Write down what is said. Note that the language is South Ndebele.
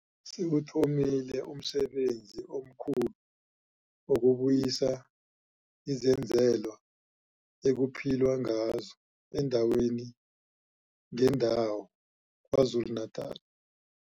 Sewuthomile umsebenzi omkhulu wokubuyisa izenzelwa ekuphilwa ngazo eendaweni ngeendawo KwaZulu-Natala.